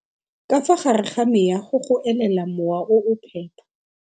Ka fa gare ga meago go elela mowa o o phepa.